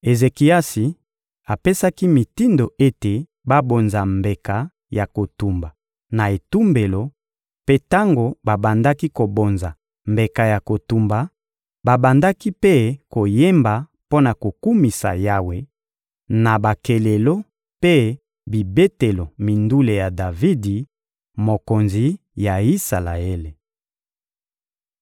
Ezekiasi apesaki mitindo ete babonza mbeka ya kotumba na etumbelo; mpe tango babandaki kobonza mbeka ya kotumba, babandaki mpe koyemba mpo na kokumisa Yawe na bakelelo mpe bibetelo mindule ya Davidi, mokonzi ya Isalaele.